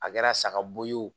A kɛra saga bo ye